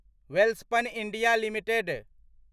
Welspun India limited